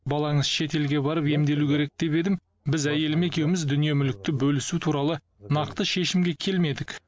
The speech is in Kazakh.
балаңыз шетелге барып емделу керек деп едім біз дүние мүлікті бөлісу туралы нақты шешімге келмедік